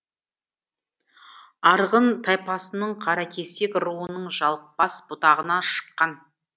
арғын тайпасының қаракесек руының жалықбас бұтағынан шыққан